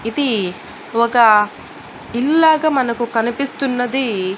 ఇది ఒక ఇల్లు లాగా మనకు కనిపిస్తున్నది.